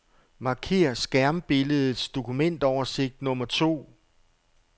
Marker skærmbilledets dokumentoversigt nummer to.